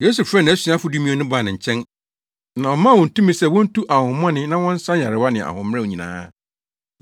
Yesu frɛɛ nʼasuafo dumien no baa ne nkyɛn, na ɔmaa wɔn tumi sɛ wontu ahonhommɔne na wɔnsa nyarewa ne ahoɔmmerɛw nyinaa.